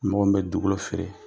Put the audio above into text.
Mɔgɔ min bɛ dugukolo feere,